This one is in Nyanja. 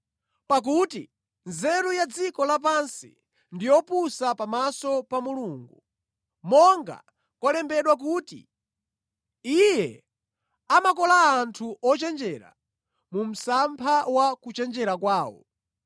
Pakuti nzeru ya dziko lapansi ndi yopusa pamaso pa Mulungu. Monga kwalembedwera kuti, “Iye amakola anthu ochenjera mu msampha wa kuchenjera kwawo,”